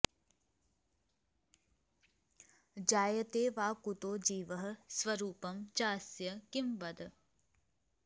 जायते वा कुतो जीवः स्वरूपं चास्य किं वद